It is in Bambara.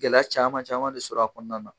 Gɛlɛya caman caman de sɔrɔ a kɔnɔna na.